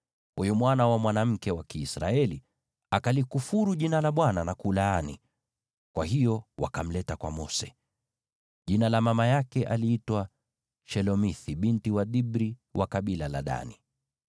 Huyu mwana wa mwanamke Mwisraeli akalikufuru Jina la Bwana kwa kulaani; kwa hiyo wakamleta kwa Mose. (Jina la mama yake aliitwa Shelomithi binti wa Dibri, wa kabila la Dani.)